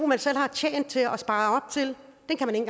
man selv har tjent til og sparet op til